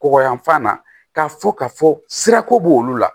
Kɔgɔ yanfan na ka fɔ ka fɔ sirako b'olu la